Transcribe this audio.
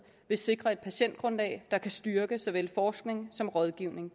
vil sikre et patientgrundlag der kan styrke såvel forskning som rådgivning